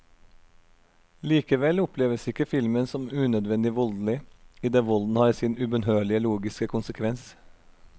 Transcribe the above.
Likevel oppleves ikke filmen som unødvendig voldelig, i det volden har sin ubønnørlige logiske konsekvens.